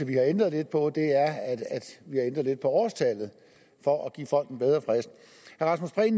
vi har ændrer lidt på er årstallet for at give folk en bedre frist